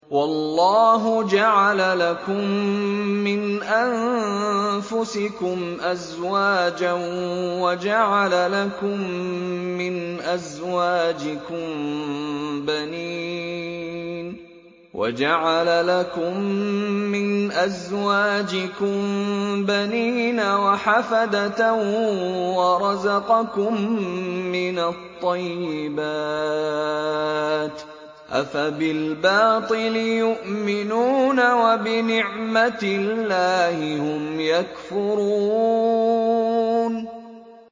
وَاللَّهُ جَعَلَ لَكُم مِّنْ أَنفُسِكُمْ أَزْوَاجًا وَجَعَلَ لَكُم مِّنْ أَزْوَاجِكُم بَنِينَ وَحَفَدَةً وَرَزَقَكُم مِّنَ الطَّيِّبَاتِ ۚ أَفَبِالْبَاطِلِ يُؤْمِنُونَ وَبِنِعْمَتِ اللَّهِ هُمْ يَكْفُرُونَ